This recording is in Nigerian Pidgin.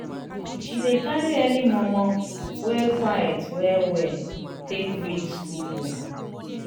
she dey carry early mor mor wey queit well well take read school book.